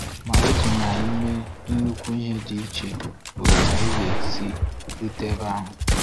Ma otu n’ime nnukwu ọdịiche bụ otú anyị si erute ebe ahụ.